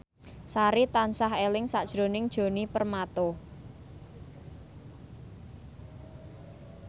Sari tansah eling sakjroning Djoni Permato